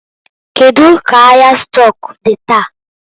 Kedu ka ahịa stọk dị taa?